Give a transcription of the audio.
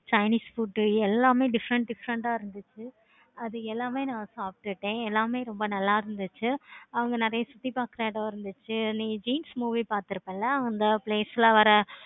chinese food எல்லாமே different different ஆஹ் இருந்துச்சி. அது எல்லாமே நான் சாப்பிட்டுட்டேன். ரொம்ப நல்ல இருந்துச்சி. அங்க நெறைய சுத்தி பார்க்க இடம் இருந்துச்சி. நீ jeans movie பார்த்துப்பிழ அந்த place ல வர